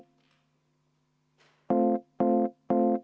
Kuidas?